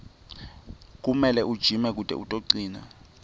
kumele ujime kute utocina